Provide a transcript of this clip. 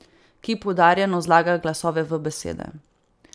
Ki poudarjeno zlaga glasove v besede.